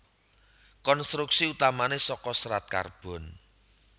Konstruksi utamané saka serat karbon